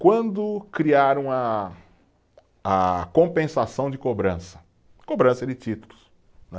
Quando criaram a, a compensação de cobrança, cobrança de títulos, né?